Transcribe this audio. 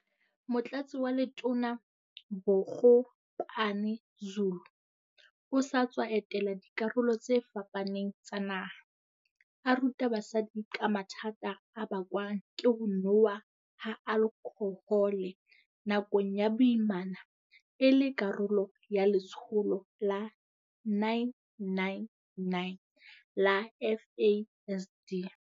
Motlatsi wa Letona Bogopane-Zulu o sa tswa etela dikarolo tse fapaneng tsa naha, a ruta basadi ka mathata a bakwang ke ho nowa ha alkhohole nakong ya boimana e le karolo ya letsholo la 999 la FASD.